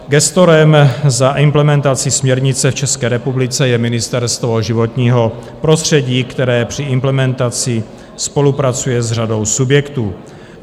Gestorem za implementaci směrnice v České republice je Ministerstvo životního prostředí, které při implementaci spolupracuje s řadou subjektů.